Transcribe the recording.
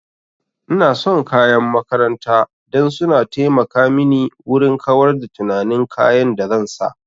Ina son kayan makaranta dan su na taimaka mini wurin kawar da tunanin kayan da zan sa